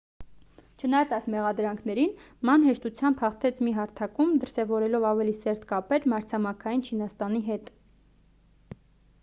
չնայած այս մեղադրանքներին ման հեշտությամբ հաղթեց մի հարթակում դրսևորելով ավելի սերտ կապեր մայրցամաքային չինաստանի հետ